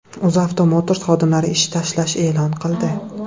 UzAuto Motors xodimlari ish tashlash e’lon qildi.